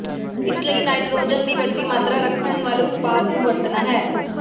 ਇਸ ਲਈ ਨਾਈਟ੍ਰੋਜਨ ਦੀ ਵੱਡੀ ਮਾਤਰਾ ਰੱਖਣ ਵਾਲੇ ਉਤਪਾਦ ਨੂੰ ਵਰਤਣਾ ਹੈ